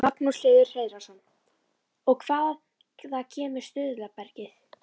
Magnús Hlynur Hreiðarsson: Og hvaða kemur stuðlabergið?